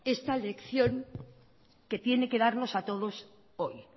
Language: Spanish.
esta lección que tiene que darnos a todos hoy